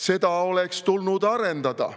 Seda oleks tulnud arendada.